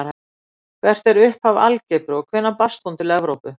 Hvert er upphaf algebru og hvenær barst hún til Evrópu?